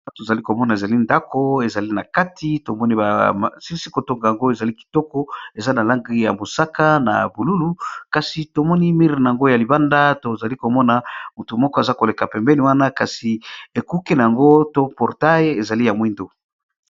a to zali komona ezali ndako ezali na kati tomoni bsilisikotonga yango ezali kitoko eza na langi ya mosaka na bolulu kasi tomoni mire na yango ya libanda tozali komona motu moko aza koleka pembeni wana kasi ekuke na yango to portail ezali ya mwindo